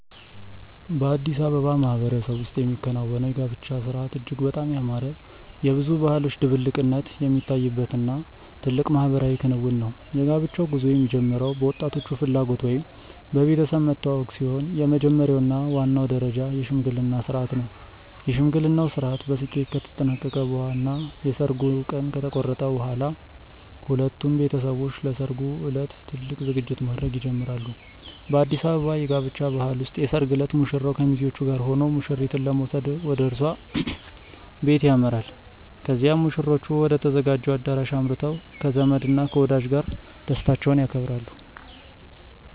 በአዲስ አበባ ማህበረሰብ ውስጥ የሚከናወነው የጋብቻ ሥርዓት እጅግ በጣም ያማረ፣ የብዙ ባህሎች ድብልቅነት የሚታይበት እና ትልቅ ማህበራዊ ክንውን ነው። የጋብቻው ጉዞ የሚጀምረው በወጣቶቹ ፍላጎት ወይም በቤተሰብ መተዋወቅ ሲሆን፣ የመጀመሪያው እና ዋናው ደረጃ የሽምግልና ሥርዓት ነው። የሽምግልናው ሥርዓት በስኬት ከተጠናቀቀ እና የሰርጉ ቀን ከተቆረጠ በኋላ፣ ሁለቱም ቤተሰቦች ለሠርጉ ዕለት ትልቅ ዝግጅት ማድረግ ይጀምራሉ። በአዲስ አበባ የጋብቻ ባህል ውስጥ የሰርግ ዕለት ሙሽራው ከሚዜዎቹ ጋር ሆኖ ሙሽሪትን ለመውሰድ ወደ እሷ ቤት ያመራል። ከዚያም ሙሽሮቹ ወደ ተዘጋጀው አዳራሽ አምርተው ከዘመድ እና ከወዳጅ ጋር ደስታቸውን ያከብራሉ።